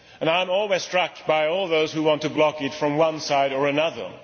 I am always struck by all those who want to block it from one side or another.